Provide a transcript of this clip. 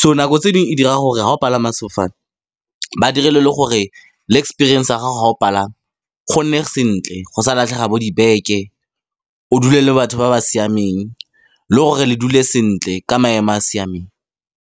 So nako tse dingwe e dira gore ga o palama sefofane ba direlwe le gore le experience a gago ga o pala gonne sentle, go sa latlhega bo dibeke, o dule le batho ba ba siameng le gore le dule sentle ka maemo a a siameng.